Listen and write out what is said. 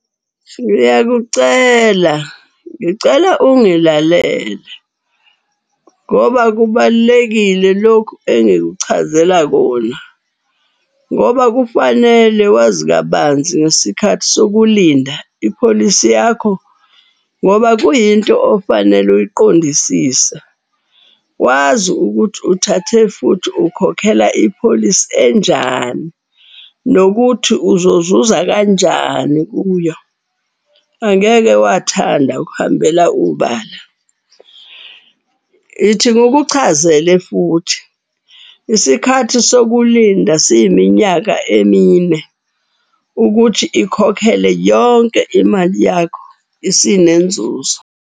Ngiyakucela, ngicela ungilalele ngoba kubalulekile lokhu engikuchazela kona. Ngoba kufanele wazi kabanzi ngesikhathi sokulinda ipholisi yakho ngoba kuyinto ofanele uyiqondisise. Wazi ukuthi uthathe futhi ukhokhela ipholisi enjani, nokuthi uzozuza kanjani kuyo. Angeke wathanda ukuhambela ubala. Ithi ngikuchazele futhi isikhathi sokulinda siyiminyaka emine ukuthi ikhokhele yonke imali yakho isinenzuzo.